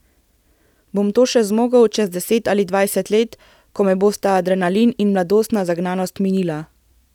Bom to še zmogel čez deset ali dvajset let, ko me bosta adrenalin in mladostna zagnanost minila?